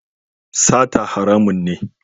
Sata haramun ne.